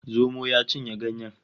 Zomo ya cinye ganyen